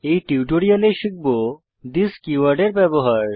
এই টিউটোরিয়ালে শিখব থিস কীওয়ার্ডের ব্যবহার